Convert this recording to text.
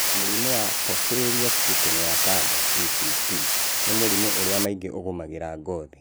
Mũrimũ wa Porphyria cutanea tarda (PCT) nĩ mũrimũ ũrĩa maingĩ ũgũmagĩra ngothi